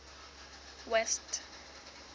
west